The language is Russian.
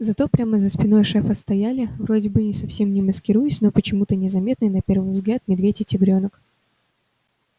зато прямо за спиной шефа стояли вроде бы совсем не маскируясь но почему-то незаметные на первый взгляд медведь и тигрёнок